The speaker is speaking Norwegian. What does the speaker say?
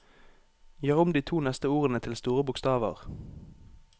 Gjør om de to neste ordene til store bokstaver